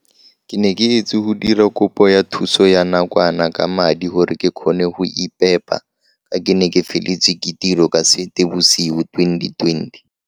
Ke ne ke etse go dira kopo ya thuso ya nakwana ka madi gore ke kgone go iphepa ka ke ne ke feletswe ke tiro ka Seetebosigo 2020.